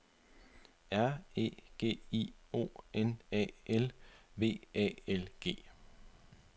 R E G I O N A L V A L G